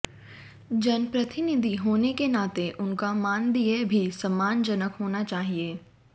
जनप्रतिनिधि होने के नाते उनका मानदेय भी सम्मानजनक होना चाहिए